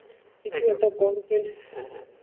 কিছু একটা content হ্যাঁ হ্যাঁ,